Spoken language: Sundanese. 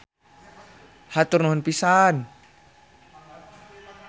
Hatur nuhun pisan.